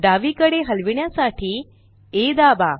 डावीकडे हलविण्यासाठी आ दाबा